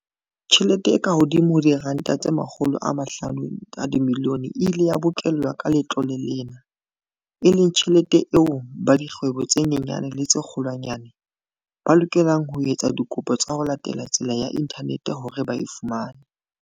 Tjhelete e kahodimo ho R500 milione e ile ya bokellwa ka letlole lena, e leng tjhelete eo ba dikgwebo tse nyenyane le tse kgolwanyane, ba lokelang ho etsa dikopo ka ho latela tsela ya inthaneteng hore ba e fumane.